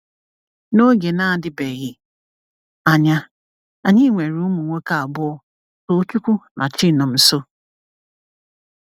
N’oge na-adịbeghị anya, anyị nwere ụmụ nwoke abụọ, Tochukwu na Chinomnso.